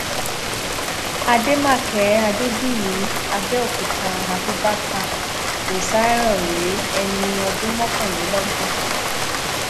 àdèmàkè adébíyí àbẹòkúta abubakar rosarioh rèé ẹni ọdún mọkànlélọgbọn ni